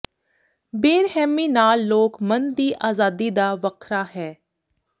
ਬੇਰਹਿਮੀ ਨਾਲ ਲੋਕ ਮਨ ਦੀ ਆਜ਼ਾਦੀ ਦਾ ਵੱਖਰਾ ਹੈ